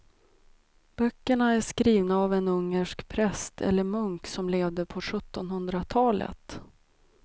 Böckerna är skrivna av en ungersk präst eller munk som levde på sjuttonhundratalet.